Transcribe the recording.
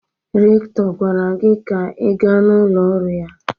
Rektọr gwara gị ka ị gaa na ụlọ ọrụ ya!